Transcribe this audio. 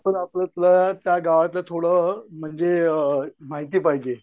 त्या गावातलं थोडं म्हणजे माहिती पाहिजे.